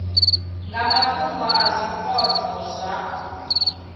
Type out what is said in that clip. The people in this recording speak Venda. nga mafhungo a zwipotso zwa